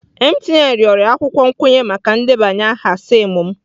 MTN rịọrọ akwụkwọ nkwenye maka ndebanye aha SIM m.